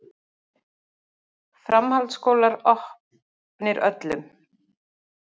Framhaldsskólar opnir öllum